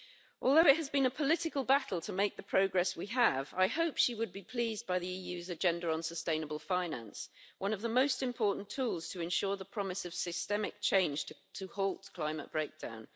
Although it has been a political battle to make the progress we have, I hope she would be pleased by the EU's agenda on sustainable finance, one of the most important tools to ensure the promise of systemic change to halt climate breakdown.